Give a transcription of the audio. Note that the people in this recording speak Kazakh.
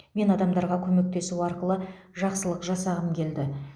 мен адамдарға көмектесу арқылы жақсылық жасағым келді